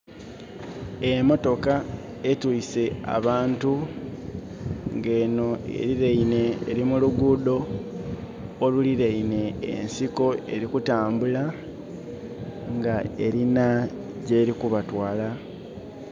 Emotoka etwise abantu nga eno eri muluguudo oluriraine ensiko. Eri kutambula nga erina gyeri kubatwala